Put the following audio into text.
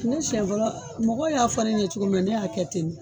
Ne sɛn fɔlɔ mɔgɔw y'a fɔ ne ye cogo min na ne y'a kɛ ten ne